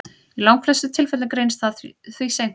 Í langflestum tilfellum greinist það því seint.